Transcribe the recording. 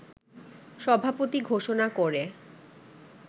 সভাপতি ঘোষণা করে